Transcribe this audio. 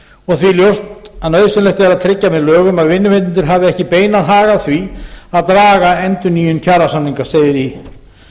og því ljóst að nauðsynlegt er að tryggja með lögum að vinnuveitendur hafi ekki beinan hag af því að draga endurnýjun kjarasamninga segir í